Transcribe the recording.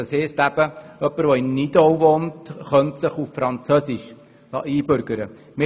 Das heisst, jemand, der in Nidau wohnt, könnte sich auf Französisch einbürgern lassen.